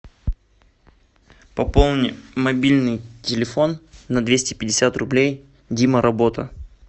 пополни мобильный телефон на двести пятьдесят рублей дима работа